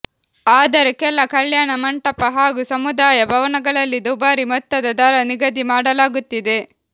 ಆದರೆ ಕೆಲ ಕಲ್ಯಾಣ ಮಂಟಪ ಹಾಗೂ ಸಮುದಾಯ ಭವನಗಳಲ್ಲಿ ದುಬಾರಿ ಮೊತ್ತದ ದರ ನಿಗದಿ ಮಾಡಲಾಗುತ್ತಿದೆ